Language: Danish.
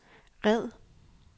red